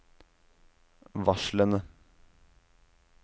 varslene